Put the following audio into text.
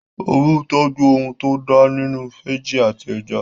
Oru ń tọ́jú ohun tó da nínú fẹ́jì àti ẹja